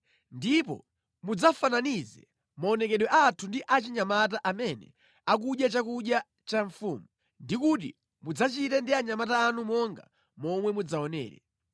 Ndipo mudzafananize maonekedwe athu ndi a anyamata amene akudya chakudya cha mfumu, ndi kuti mudzachite ndi anyamata anu monga momwe mudzawaonere.”